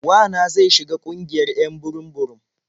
Wa na zai shiga ƙungiyar 'yan burum-burum.